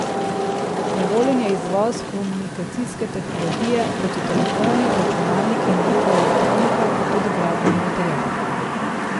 Dovoljen je izvoz komunikacijske tehnologije, kot so telefoni, računalniki in druga elektronika, pa tudi gradbeni material.